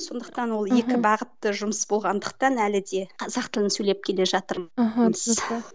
сондықтан ол екі бағытты жұмыс болғандықтан әлі де қазақ тілін сөйлеп келе жатырмын аха түсінікті